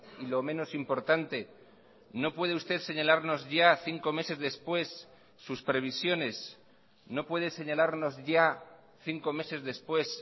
y lo menos importante no puede usted señalarnos ya cinco meses después sus previsiones no puede señalarnos ya cinco meses después